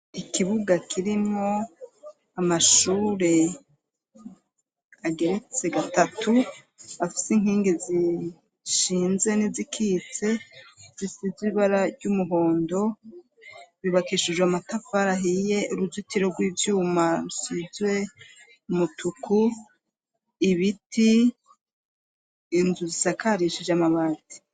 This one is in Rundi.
ikibuga kirimo amashure ageretse gatatu afise inkingi zishinze n'izikitse zisize ibara ry'umuhondo ryubakishijwe amatafari ahiye uruzitiro rw'ibyuma rusizwe umutuku ibiti inzu zisakarishije amabati